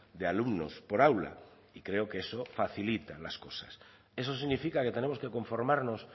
de alumnos por aula y creo que eso facilita las cosas eso significa que tenemos que conformarnos